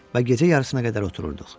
Və gecə yarısına qədər otururduq.